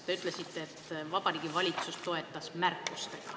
Te ütlesite, et Vabariigi Valitsus toetas, aga märkustega.